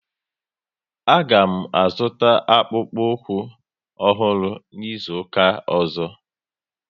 A ga m azuta akpukpu ukwu ọhụrụ n'izuka ọzọ